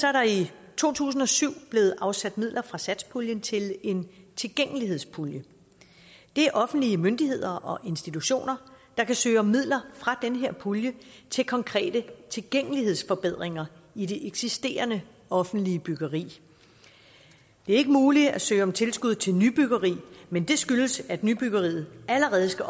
er der i to tusind og syv blevet afsat midler fra satspuljen til en tilgængelighedspulje det er offentlige myndigheder og institutioner der kan søge om midler fra den her pulje til konkrete tilgængelighedsforbedringer i det eksisterende offentlige byggeri det er ikke muligt at søge om tilskud til nybyggeri men det skyldes at nybyggeriet allerede skal